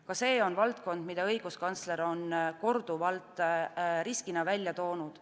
Ka see on valdkond, mida õiguskantsler on riskina korduvalt välja toonud.